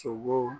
Sogo